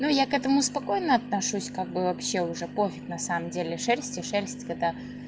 ну я к этому спокойно отношусь как бы вообще уже пофиг на самом деле шерсти шерсть кота